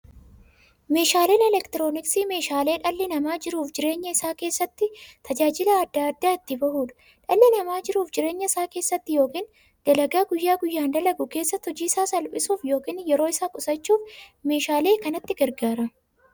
Meeshaaleen elektirooniksii meeshaalee dhalli namaa jiruuf jireenya isaa keessatti, tajaajila adda addaa itti bahuudha. Dhalli namaa jiruuf jireenya isaa keessatti yookiin dalagaa guyyaa guyyaan dalagu keessatti, hojii isaa salphissuuf yookiin yeroo isaa qusachuuf meeshaalee kanatti gargaarama.